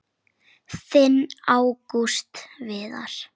Þinn Ágúst Viðar.